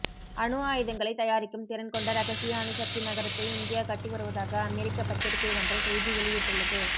அணுஆயுதங்களை தயாரிக்கும் திறன் கொண்ட ரகசிய அணுசக்தி நகரத்தை இந்தியா கட்டி வருவதாக அமெரிக்க பத்திரிகை ஒன்று செய்தி வெளியிட்டுள்ளது